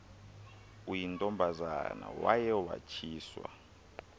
uyintombazana waye watshiswa